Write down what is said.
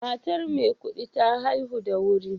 Matar Maikudi ta haihu da wuri